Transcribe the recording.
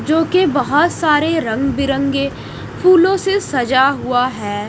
जो की बहोत सारे रंग बिरंगे फूलों से सजा हुवा हैं।